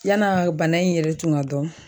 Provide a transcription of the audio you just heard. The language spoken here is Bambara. Yan'a bana in yɛrɛ tun ka dɔn